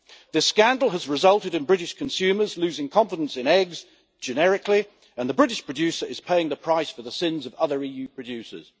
The scandal has resulted in British consumers losing confidence in eggs generically and the British producer is paying the price for the sins of other EU producers.